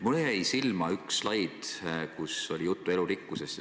Mulle jäi silma üks slaid elurikkuse seisundist.